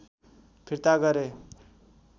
फिर्ता गरे